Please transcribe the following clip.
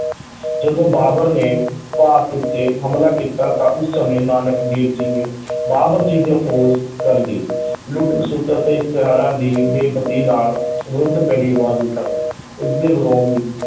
ਜਦੋਂ ਬਾਬਰ ਨੇ ਭਾਰਤ ਉੱਤੇ ਹਮਲਾ ਕੀਤਾ ਤਾਂ ਉਸ ਸਮੇਂ ਨਾਨਕ ਦੇਵ ਜੀ ਨੇ ਬਾਬਰ ਫੌਜ ਕਰ ਗਏ ਲੁੱਟ-ਖਸੁੱਟ ਅਤੇ ਇਸ਼ਤਰੀਆਂ ਦੀ ਬੇ-ਪਤੀ ਨਾਲ ਵਿਰੁੱਧ ਕਰੜੀ ਆਵਾਜ਼ ਉਠਾਈ ਇਸਦੇ ਵਿੱਚ,